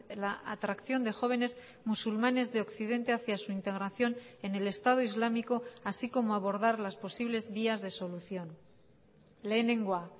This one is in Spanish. la atracción de jóvenes musulmanes de occidente hacia su integración en el estado islámico así como abordar las posibles vías de solución lehenengoa